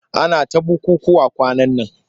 Ana ta bukukkuwa kwanan nan.